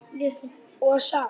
og saft.